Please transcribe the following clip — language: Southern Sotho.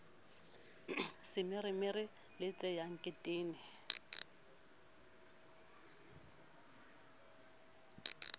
semeremere le tshea ke tene